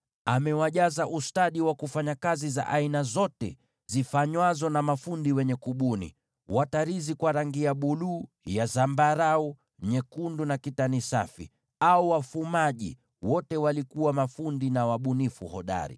Amewajaza ustadi wa kufanya kazi za aina zote zifanywazo na mafundi, na wenye kubuni michoro, pia na watarizi kwa rangi za buluu, zambarau, nyekundu na kitani safi, na wafumaji: wote wakiwa mafundi na wabunifu hodari.